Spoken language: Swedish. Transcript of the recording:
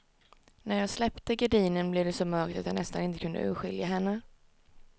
När jag släppte gardinen blev det så mörkt att jag nästan inte kunde urskilja henne.